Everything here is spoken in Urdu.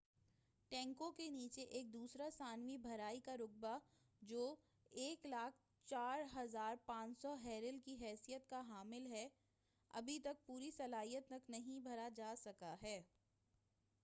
ٹینکوں کے نیچے ایک دوسرا ثانوی بھرائی کا رقبہ جو 104،500 بیرل کی صلاحیت کا حامل ہے، ابھی تک پوری صلاحیت تک نہیں بھرا جا سکا ہے۔